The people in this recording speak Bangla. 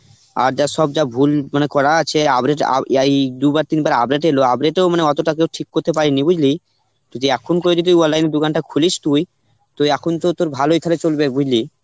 আর যা সব যা ভুল মানে করা আছে এই দুবার তিনবার update এলো update এও মানে অতটা কেউ ঠিক করতে পারিনি, বুঝলি. যদি এখন করে যদি online দোকানটা খুলিস তুই তো এখন তো তোর ভালোই থালে চলবে, বুঝলি.